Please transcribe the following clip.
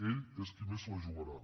ell és qui més se la jugarà